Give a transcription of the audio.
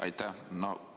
Aitäh!